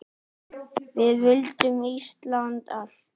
Við vildum Íslandi allt!